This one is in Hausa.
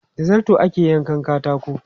Da zarto ake yankan katako.